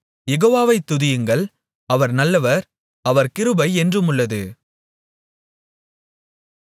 யெகோவாவை துதியுங்கள் அவர் நல்லவர் அவர் கிருபை என்றுமுள்ளது